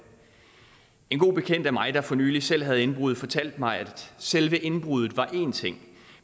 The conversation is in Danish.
en god bekendt af mig der for nylig selv havde haft indbrud fortalte mig at selve indbruddet var en ting